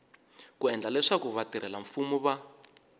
ku endla leswaku vatirhelamfumo va